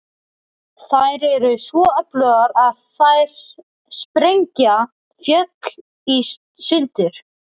Þær eru svo öflugar að þær sprengja fjöll í sundur.